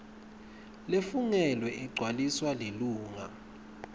lefungelwe igcwaliswa lilunga